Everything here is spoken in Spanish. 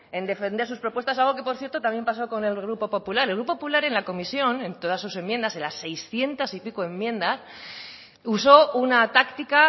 en defender sus propuestas algo que por cierto también ha pasado con el grupo popular el grupo popular en la comisión en todas sus enmiendas en las seiscientos y pico enmiendas usó una táctica